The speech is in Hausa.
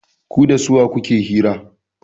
Ku da suwa kuke hira?